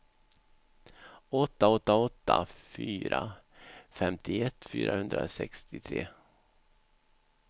åtta åtta åtta fyra femtioett fyrahundrasextiotre